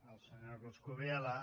el senyor coscubiela